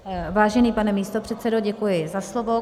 Vážený pane místopředsedo, děkuji za slovo.